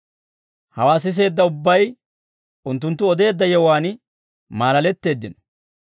Hawaa siseedda ubbay unttunttu odeedda yewuwaan maalaletteeddino.